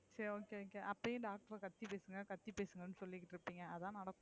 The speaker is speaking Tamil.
சரி சரி, okay okay அப்புறம் ஏன் last ல கத்தி பேசுங்க கத்தி பேசுங்க ன்னு சொல்லிட்டு இருக்கீங்க அதான் நடக்கும்